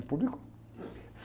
E publicou.